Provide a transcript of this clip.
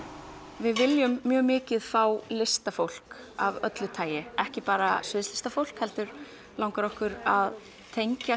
við viljum mjög mikið fá listafólk af öllu tagi ekki bara sviðslistafólk heldur langar okkur að tengja